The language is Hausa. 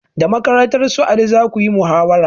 Da makarantar su ali zakuyi muhawara